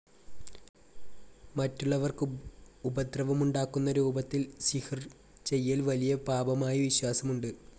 മറ്റുള്ളവർക്ക് ഉപദ്രവമുണ്ടാക്കുന്ന രൂപത്തിൽ സിഹ്ർ ചെയ്യൽ വലിയ പാപമായി വിശ്വാസമുണ്ട്.